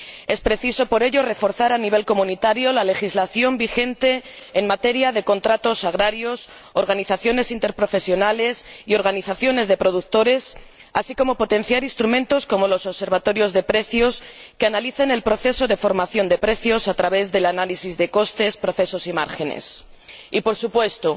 Es preciso por ello reforzar a nivel comunitario la legislación vigente en materia de contratos agrarios, organizaciones interprofesionales y organizaciones de productores, así como potenciar instrumentos como los observatorios de precios, que analicen el proceso de formación de precios a través del análisis de costes, procesos y márgenes, y, por supuesto,